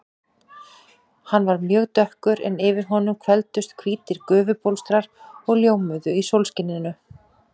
Hann var mjög dökkur en yfir honum hvelfdust hvítir gufubólstrar og ljómuðu í sólskininu.